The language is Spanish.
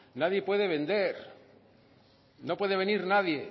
nadie puede vender no puede venir nadie